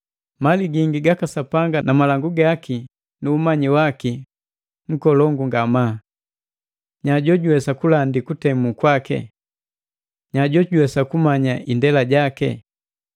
Mali gingi gaka Sapanga na malangu gaki nu umanyi waki nkolongu ngamaa! Nya jojuwesa kulandi kutemu kwaki? Nya jojuwesa kumanya indela yaki?